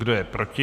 Kdo je proti?